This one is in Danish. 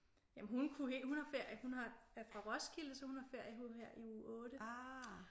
Jamen hun kunne hele hun har hun er fra Roskilde så hun har ferie her i uge 8